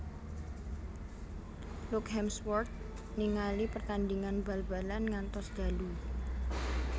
Luke Hemsworth ningali pertandingan bal balan ngantos dalu